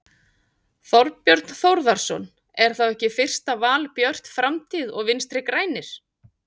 Þorbjörn Þórðarson: Er þá ekki fyrsta val Björt framtíð og Vinstri-grænir?